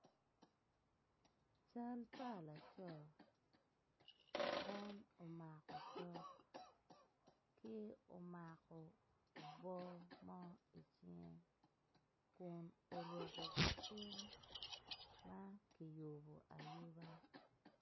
Cal pa laco eno omako otok tye omako obwor mo icinge kun oruko gicing ma kiyubo ayuba